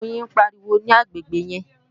àwọn oyin ń pariwo ní agbègbè yẹn